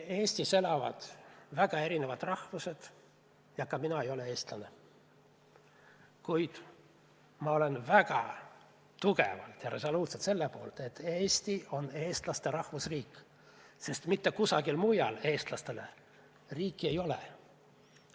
Eestis elavad väga erinevad rahvused ja ka mina ei ole eestlane, kuid ma olen väga tugevalt ja resoluutselt selle poolt, et Eesti on eestlaste rahvusriik, sest mitte kusagil mujal eestlastele riiki ei ole.